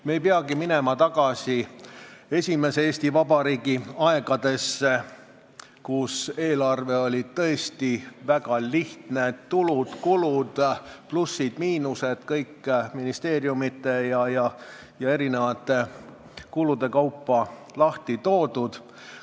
Me ei pea minema tagasi esimese Eesti Vabariigi aegadesse, kui eelarve oli tõesti väga lihtne: tulud-kulud, plussid-miinused ning kõik ministeeriumite ja kulude kaupa lahti kirjutatud.